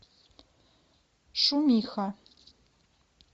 шумиха